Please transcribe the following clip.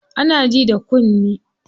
Ana ji da kunne.